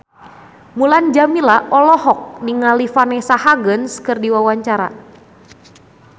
Mulan Jameela olohok ningali Vanessa Hudgens keur diwawancara